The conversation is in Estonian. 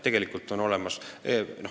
Tegelikult on olemas.